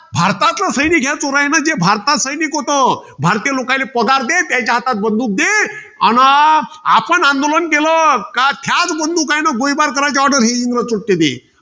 भारताचं सैनिक, चोरायान जे भारताचं सैनिक होतं. भारतीय लोकायले, पगार दे, त्याच्या हातात बंदूक दे. अन आपण आंदोलन केलं का ह्याच बंदुकानं गोळीबार करायचे order हे इंग्रज देत.